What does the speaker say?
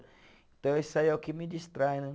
Então, isso aí é o que me distrai, né?